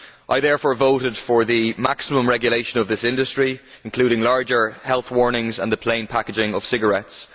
I therefore voted for the maximum regulation of this industry, including larger health warnings and the plain packaging of cigarettes.